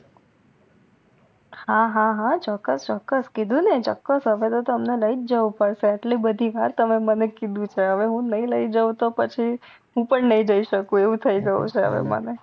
હા હા હા ચોક્કસ ચોક્કસ કીધું ને ચોક્કસ કીધું ને તમને લઇજ જવું પડસે આટલી બધી વાર તમે મને કીધું છે હવે હું નઈ લઈ જાવ તો પછી હું પણ નઈ જય સકું એવું થઈ જવું છે મને